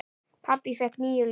Pabbi fékk níu líf.